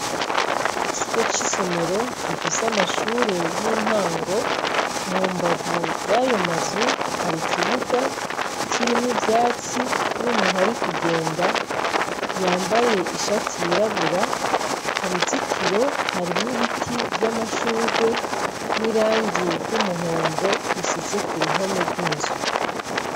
Ikigo c'isomero gifise amashure y'intango mu mbavu yayo mazu hari ikibuga kirimwo ivyatsi n'umuntu ari kugenda yambaye ishati yirabura ku ruzitiro harimwo ibiti vy'amashurwe n'irangi ry'umuhondo risize ku ruhome rw'inzu.